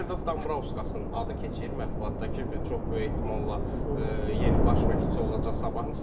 Valdas Dambrauskasın adı keçir mətbuatda ki, və çox böyük ehtimalla yeni baş məşqçisi olacaq sabahın.